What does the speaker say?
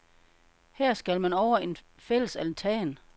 Her skal man over en fællesaltan.